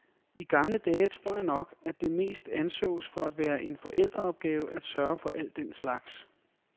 I gamle dage tror jeg nok, at det mest ansås for at være en forældreopgave at sørge for al den slags.